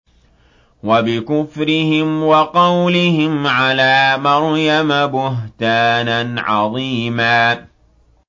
وَبِكُفْرِهِمْ وَقَوْلِهِمْ عَلَىٰ مَرْيَمَ بُهْتَانًا عَظِيمًا